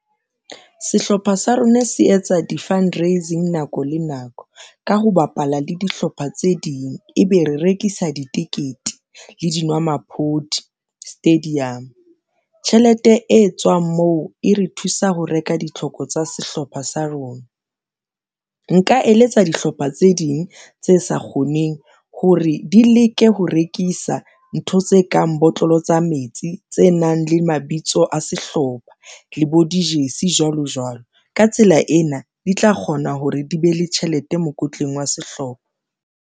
Sehlopha sa rona se etsa di-fundraising nako le nako ka ho bapala le dihlopha tse ding e be re rekisa ditekete le dinwamaphodi stadium tjhelete e tswang moo e re thusa ho reka ditlhoko tsa sehlopha sa rona. Nka eletsa dihlopha tse ding tse sa kgoneng hore di leke ho rekisa ntho tse kang botlolo tsa metsi, tse nang le mabitso a sehlopha le bo dijeresi jwalo jwalo ka tsela ena, di tla kgona hore di be le tjhelete mokotleng wa sehlopha.